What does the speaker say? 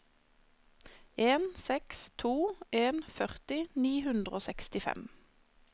en seks to en førti ni hundre og sekstifem